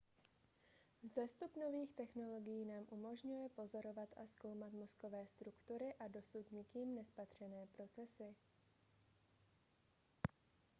vzestup nových technologií nám umožňuje pozorovat a zkoumat mozkové struktury a dosud nikým nespatřené procesy